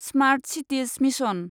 smart cities mission